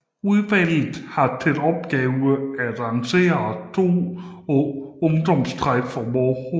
Udvalget har til opgave at arrangere 2 ungdomstræf om året